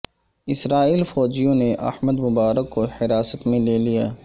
اسرائیلی فوجیوں نے Ahmed Mubarak کو حراست میں لے لیا